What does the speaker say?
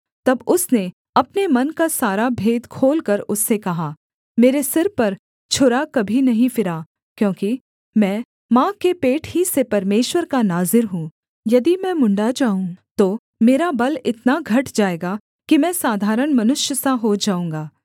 तब उसने अपने मन का सारा भेद खोलकर उससे कहा मेरे सिर पर छुरा कभी नहीं फिरा क्योंकि मैं माँ के पेट ही से परमेश्वर का नाज़ीर हूँ यदि मैं मुँण्ड़ा जाऊँ तो मेरा बल इतना घट जाएगा कि मैं साधारण मनुष्य सा हो जाऊँगा